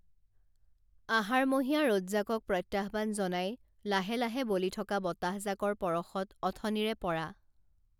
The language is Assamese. আহাৰমহীয়া ৰদজাকক প্ৰত্যাহ্বান জনাই লাহে লাহে বলি থকা বতাহজাকৰ পৰশত অথনিৰে পৰা